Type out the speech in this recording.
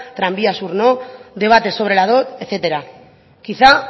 tranvía sur no debates sobre la dot etcétera quizá